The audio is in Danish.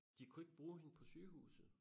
De kunne ikke bruge hende på sygehuset